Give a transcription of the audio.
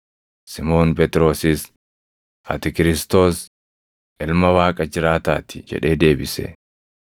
Simoon Phexrosis, “Ati Kiristoos, Ilma Waaqa jiraataa ti” jedhee deebise.